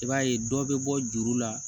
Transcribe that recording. I b'a ye dɔ bɛ bɔ juru la